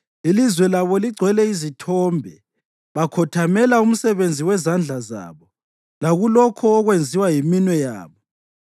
Ilizwe labo ligcwele izithombe; bakhothamela umsebenzi wezandla zabo, lakulokho okwenziwa yiminwe yabo.